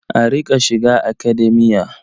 A riƙa shiga Academia.